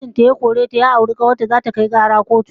Matar da mijin ta ya kore ta ya auri kawar ta, zata kai shi kara kotu